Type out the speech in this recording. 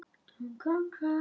Er hún með vegabréf?